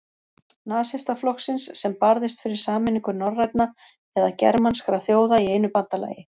Nasistaflokksins, sem barðist fyrir sameiningu norrænna eða germanskra þjóða í einu bandalagi.